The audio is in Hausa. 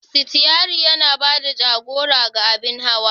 Sitiyari yana ba da jagora ga abin hawa.